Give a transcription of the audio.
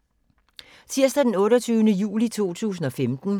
Tirsdag d. 28. juli 2015